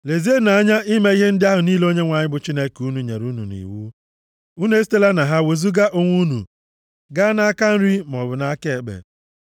Lezienụ anya ime ihe ndị ahụ niile Onyenwe anyị bụ Chineke unu nyere unu nʼiwu. Unu esitela na ha wezuga onwe unu gaa nʼaka nri maọbụ nʼaka ekpe.